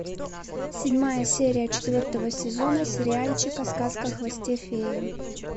седьмая серия четвертого сезона сериальчика сказка о хвосте феи